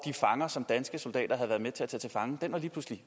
fanger som danske soldater havde været med til at tage til fange lige pludselig